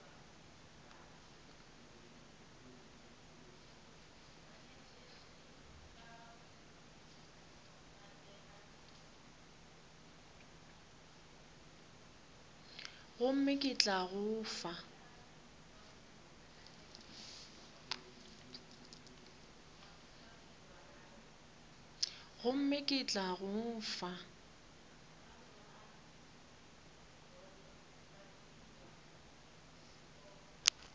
gomme ke tla go fa